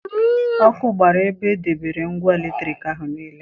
Ọkụ gbara ebe e debere ngwa eletriki ahụ niile.